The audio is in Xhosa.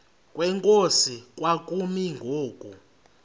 kwenkosi kwakumi ngoku